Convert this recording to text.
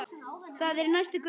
Það er í næstu götu.